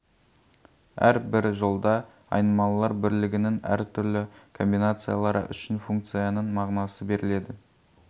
әр бір жолда айнымалылар бірлігінің әр түрлі комбинациялары үшін функцияның мағынасы беріледі